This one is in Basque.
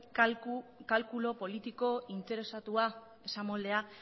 kalkulu politiko interesatua esamoldea